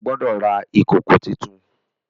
O gbódò rà ìkọkọ títún!